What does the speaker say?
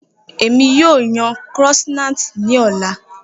Emi yoo yan croissants ni ọla